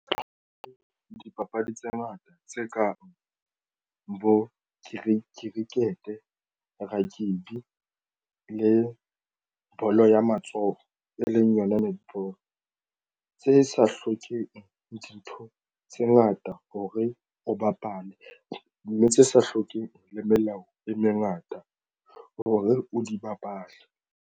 Dipapadi tse ngata tse kang bo cricket, rugby le bolo ya matsoho e leng yona netball hore tse sa hlokeng dintho tse ngata hore o bapale mme tse sa hlokeng le melao e mengata hore o di bapale.